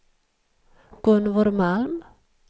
Gunvor Malm